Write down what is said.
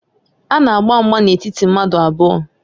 A na-agba mgba n'etiti mmadụ abụọ